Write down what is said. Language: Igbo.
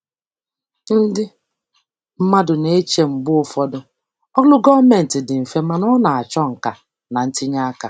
Ndị mmadụ na-eche mgbe ụfọdụ ọrụ gọọmentị dị mfe, mana ọ na-achọ nka na ntinye aka.